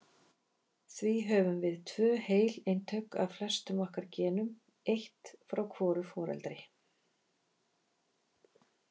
Því höfum við tvö heil eintök af flestum okkar genum- eitt frá hvoru foreldri.